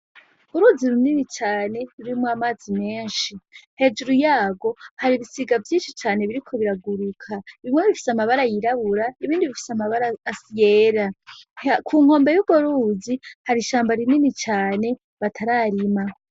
Uruzi runini cane rurimwo amazi menshi, hejuru yarwo hari ibisiga vyinshi cane biriko biraguruka, bimwe bifise amabara yirabura ibindi bifise amabara yera. Ku nkombe y'urwo ruzi hari ishamba rinini cane batararima.